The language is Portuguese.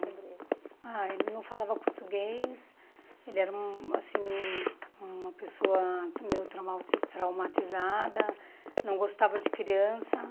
Sobre ele. Ah, ele não falava português, ele era um assim uma pessoa meio traumau traumatizada, não gostava de criança.